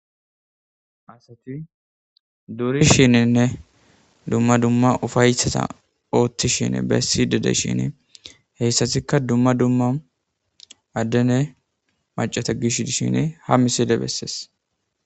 Asati durishininne dumma dumma ufaysata oothtishin bessi dede shin heyssatikka dumma dumma addene macata gish dishin ha misile bessees.